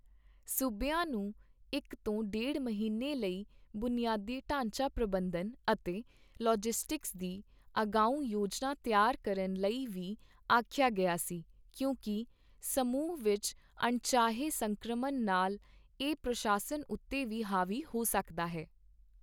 ਸੂਬਿਆਂ ਨੂੰ ਇੱਕ ਤੋਂ ਡੇਢ ਮਹੀਨੇ ਲਈ ਬੁਨਿਆਦੀ ਢਾਂਚਾ ਪ੍ਰਬੰਧਨ ਅਤੇ ਲਾਜਿਸਟਿਕਸ ਦੀ ਅਗਾਂਊਂ ਯੋਜਨਾ ਤਿਆਰ ਕਰਨ ਲਈ ਵੀ ਆਖਿਆ ਗਿਆ ਸੀ, ਕਿਉਂਕਿ ਸਮੂਹ ਵਿੱਚ ਅਣਚਾਹੇ ਸੰਕ੍ਰਮਣ ਨਾਲ ਇਹ ਪ੍ਰਸ਼ਾਸਨ ਉੱਤੇ ਵੀ ਹਾਵੀ ਹੋ ਸਕਦਾ ਹੈ।